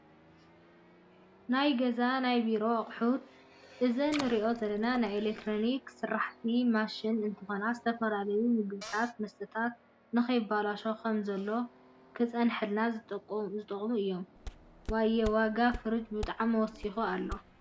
ናይ ገዛን ናይ ብሮን ኣቁሑት፦ እዘን እንሪኣን ዘለና ናይኤሌክትሪክ ስራሐቲ ማሽናተ እንትኮና ዝተፈላለዩ ምግብታትን መስታታት ንከይባለሸው ከም ዘለዎ ከፅነሐልና ዝጠቅሙና እዮም። ዋየ !ዋጋ ፍርጅ ብጣዕሚ ወሲኩ ኣሎ።